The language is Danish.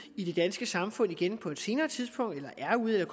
i det danske samfund igen på et senere tidspunkt eller er ude